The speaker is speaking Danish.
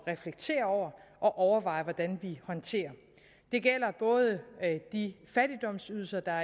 reflektere over og overveje hvordan vi håndterer det gælder både de fattigdomsydelser der